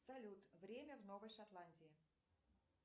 салют время в новой шотландии